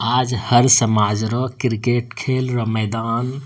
आज हर समाज रो क्रिकेट खेल र मैदान --